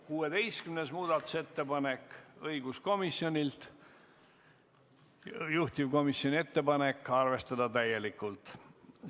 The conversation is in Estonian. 16. muudatusettepanek on õiguskomisjonilt, juhtivkomisjoni ettepanek on arvestada seda täielikult.